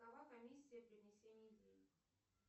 какова комиссия при внесении денег